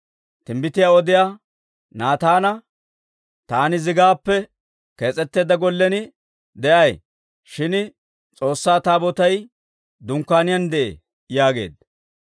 timbbitiyaa odiyaa Naataana, «Taani zigaappe kees'etteedda gollen de'ay; shin S'oossaa Taabootay dunkkaaniyaan de'ee» yaageedda.